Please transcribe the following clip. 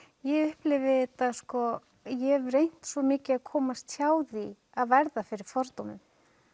ég upplifi þetta ég hef reynt svo mikið að komast hjá því að verða fyrir fordómum